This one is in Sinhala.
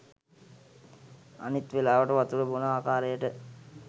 අනිත් වෙලාවට වතුර බොන ආකාරයට